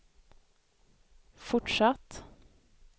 fortsatt